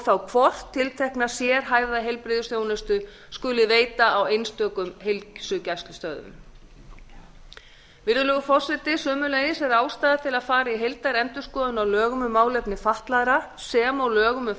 þá hvort tiltekna sérhæfða heilbrigðisþjónustu skuli veita á einstökum heilsugæslustöðvum virðulegur forseti sömuleiðis er ástæða til að fara í heildarendurskoðun á lögum um málefni fatlaðra sem og lögum um